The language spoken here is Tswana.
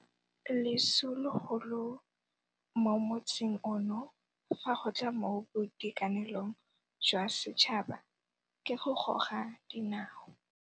Leso legolo mo motsing ono fa go tla mo boitekanelong jwa setšhaba ke go goga dinao.